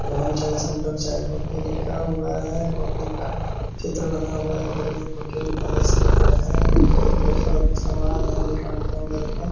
रोहन चाय सेंटर चाय कॉफी लिखा हुआ है। कॉफी का चित्र बना हुआ है। बगल मे होटल प्लस लिखा है और बहुत सारा सामान है अंदर मे -